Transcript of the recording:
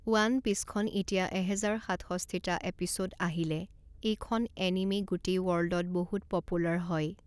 one পিছখন এতিয়া এহেজাৰ সাতষষ্ঠিটা এপিছ'দ আহিলে, এইখন এনিমে গোটেই ৱৰ্ল্ডত বহুত পপুলাৰ হয়